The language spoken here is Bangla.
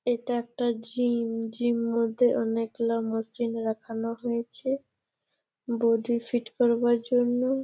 এটা একটা জিম । জিম মধ্যে অনেক গুলা মোশিন রাখানো হয়েছে বোডি ফিট করবার জন্যে।